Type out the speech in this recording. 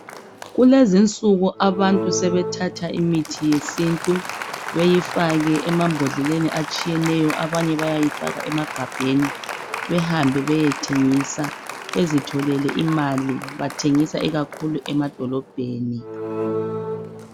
Kulezinsuku abantu sebethatha imithi yesintu beyifake emambodleleni atshiyeneyo abanye bayayifaka emagabheni behambe beyethengisa bezitholele imali bathengisa ikakhulu emadolobheni